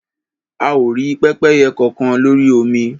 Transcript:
A ò rí pẹ́pẹ́yẹ kọkan lórí omi.